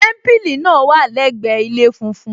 Témípìlì náà wà lẹgbẹ ilé funfun